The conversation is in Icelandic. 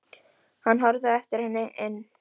Hann horfði á eftir henni inn.